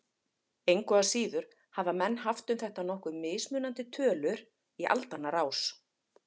Engu að síður hafa menn haft um þetta nokkuð mismunandi tölur í aldanna rás.